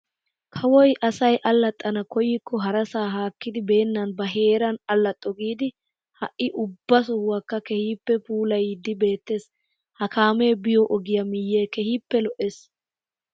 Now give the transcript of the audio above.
Kaawoy asay allaxana koyikko harasaa haakkidi beenan ba heeran allaxo giidi ha'i ubba sohuwaakka keehippe puulayiidi beettees. ha kaamee biyoo ogiyaa miyee keehippe lo"ees.